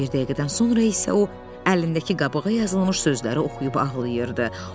Bir dəqiqədən sonra isə o, əlindəki qabığa yazılmış sözləri oxuyub ağlayırdı.